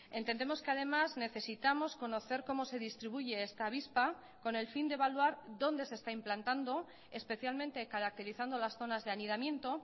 entendemos que además necesitamos conocer cómo se distribuye esta avispa con el fin de evaluar dónde se está implantando especialmente caracterizando las zonas de anidamiento